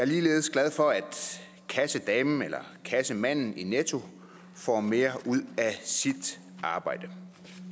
ligeledes glad for at kassedamen eller kassemanden i netto får mere ud af sit arbejde